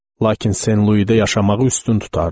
Lakin Sen Luida yaşamağı üstün tutardım.